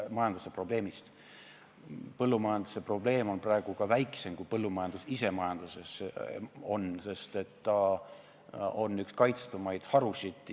Põllumajanduse probleem moodustab praegu kogu majanduse probleemidest väiksema osa, kui põllumajandus ise majandusest moodustab, sest ta on üks kaitstumaid harusid.